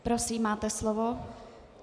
Prosím, máte slovo.